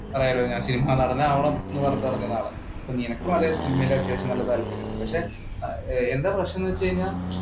Cinema നടൻ ആവണം എന്ന് പറഞ്ഞിട്ട് നടക്കുന്ന ആൾക്കാരാണ് നിനക്കും അതെ സിനിമയിൽ അത്യാവശ്യം നല്ല താല്പര്യമുണ്ട്. പക്ഷെ എന്താണ് പ്രശ്നം എന്ന് വെച്ച് കഴിഞ്ഞാൽ